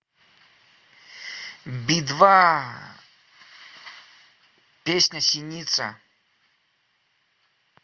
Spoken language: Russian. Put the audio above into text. би два песня синица